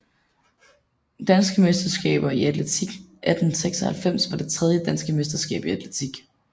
Danske mesterskaber i atletik 1896 var det tredje Danske mesterskaber i atletik